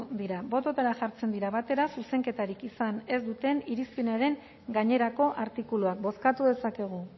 dira bototara jartzen dira batera zuzenketarik izan ez duten irizpenaren gainerako artikuluak bozkatu dezakegu